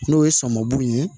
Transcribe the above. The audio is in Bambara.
N'o ye sɔmun ye